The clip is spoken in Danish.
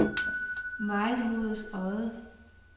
Mejlhoveds Odde